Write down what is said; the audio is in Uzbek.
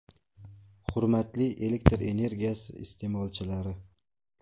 Hurmatli elektr energiyasi iste’molchilari!